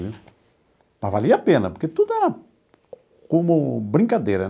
Mas valia a pena, porque tudo era como brincadeira.